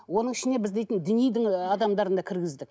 оның ішіне біз дейтін дінидің ы адамдарын да кіргіздік